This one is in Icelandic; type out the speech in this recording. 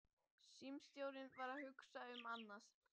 Símstjórinn var að hugsa um annað.